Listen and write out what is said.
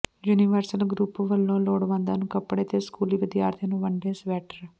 universal Group ਵੱਲੋਂ ਲੋੜਵੰਦਾਂ ਨੂੰ ਕੱਪੜੇ ਤੇ ਸਕੂਲੀ ਵਿਦਿਆਰਥੀਆਂ ਨੂੰ ਵੰਡੇ ਸਵੈਟਰ